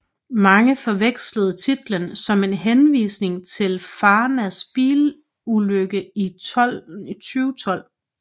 Mange forvekslede titlen som en henvisning til Farnas bilulykke i 2012